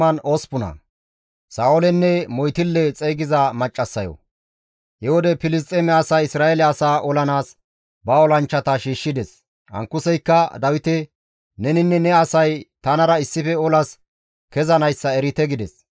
He wode Filisxeeme asay Isra7eele asaa olanaas ba olanchchata shiishshides. Ankuseykka Dawite, «Neninne ne asay tanara issife olas kezanayssa erite» gides.